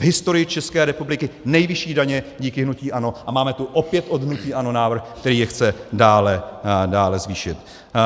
V historii České republiky nejvyšší daně díky hnutí ANO a máme tu opět od hnutí ANO návrh, který je chce dále zvýšit.